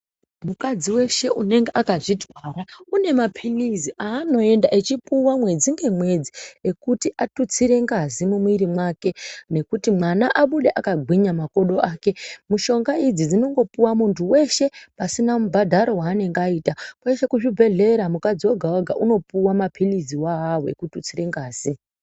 Mukadzi weshe unenge akazvitwara unemapilizi aanoenda echipuwa mwedzi ngemwedzi ekuti atutsire ngazi mumwiiri wake nekuti mwana abude akagwinya makodo ake mushonga idzi dzinongopuwa mwundu weshe pasina mubhadharo waanenge aita kweshe kuzvibhedhlera mukadzi wega wega unopihwa mapilizi wawawo ekututsira ngazi.